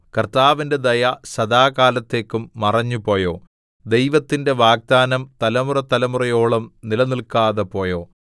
കർത്താവിന്റെ ദയ സദാകാലത്തേക്കും മറഞ്ഞു പോയോ ദൈവത്തിന്റെ വാഗ്ദാനം തലമുറതലമുറയോളം നിലനില്‍ക്കാതെ പോയോ